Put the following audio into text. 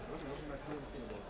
Ona baxma.